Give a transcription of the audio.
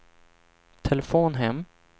telefon hem